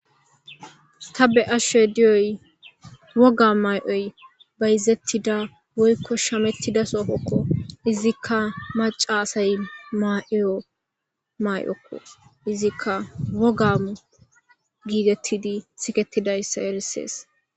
Ta be ashe diyoy woga may7oy bayzettida woykko shamettida soofokko izikka maca asay ma7iyo may7okko izikka wogamu giitettidi sikettidayssa erisees